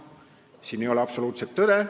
Siin ei ole absoluutset tõde.